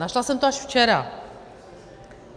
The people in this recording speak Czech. Našla jsem to až včera.